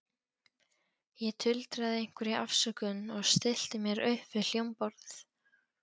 Ég tuldraði einhverja afsökun og stillti mér upp við hljómborðið.